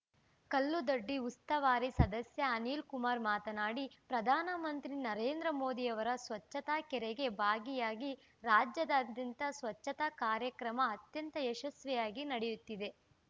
ಕಲ್ಲುದೊಡ್ಡಿ ಉಸ್ತುವಾರಿ ಸದಸ್ಯ ಅನಿಲ್‌ಕುಮಾರ್‌ ಮಾತನಾಡಿ ಪ್ರಧಾನ ಮಂತ್ರಿ ನರೇಂದ್ರ ಮೋದಿರವರ ಸ್ವಚ್ಛತಾ ಕರೆಗೆ ಭಾಗಿಯಾಗಿ ರಾಜ್ಯದಾದ್ಯಂತ ಸ್ವಚ್ಛತಾ ಕಾರ್ಯಕ್ರಮ ಅತ್ಯಂತ ಯಶಸ್ವಿಯಾಗಿ ನಡೆಯುತ್ತಿದೆ